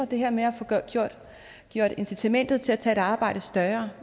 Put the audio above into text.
det her med at få gjort incitamentet til at tage et arbejde større